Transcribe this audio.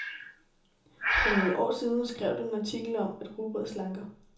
For nogle år siden skrev du en artikel om, at rugbrød slanker.